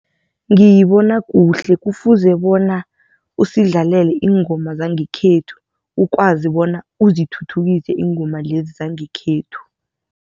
Ngiyibona kuhle kufuze bona usidlalela iingoma zangekhethu ukwazi bona uzithuthukise iingoma lezi zangekhethu.